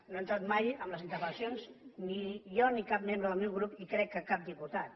no hi he entrat mai en les interpel·lacions ni jo ni cap membre del meu grup i crec que cap diputat